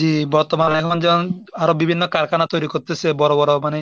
জি বর্তমানে এখন যেমন আরো বিভিন্ন কারখানা তৈরি করতেছে বড় বড় মানে